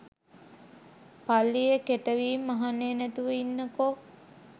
පල්ලියේ කෙටවීම් අහන්නේ නැතිව ඉන්නකෝ